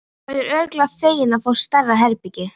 Þú verður örugglega feginn að fá stærra herbergi.